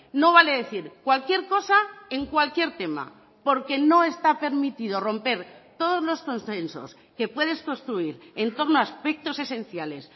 no vale decir cualquier cosa en cualquier tema porque no está permitido romper todos los consensos que puedes construir en torno a aspectos esenciales